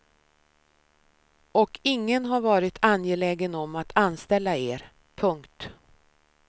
Och ingen har varit angelägen om att anställa er. punkt